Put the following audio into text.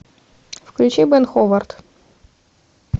включи бэн ховард